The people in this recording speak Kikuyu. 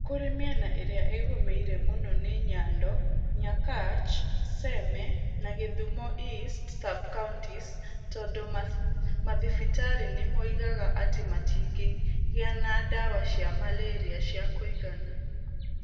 Kũrĩ mĩena ĩrĩa ĩgũmĩire mũno nĩ Nyando, Nyakach, Seme na gĩthumo East sub-counties tondũ mathibitarĩ nĩ moigaga atĩ matingĩgĩa na ndawa cia malaria cia kũigana.